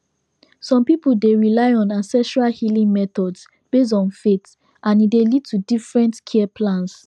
some people dey rely on ancestral healing methods based on faith and e dey lead to different care plans